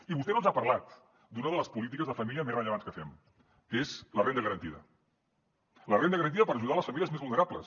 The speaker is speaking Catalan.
i vostè no ens ha parlat d’una de les polítiques de família més rellevants que fem que és la renda garantida la renda garantida per ajudar les famílies més vulnerables